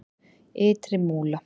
Ytri Múla